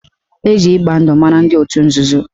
Eji ịgba ndụ mara ndị otu nzuzo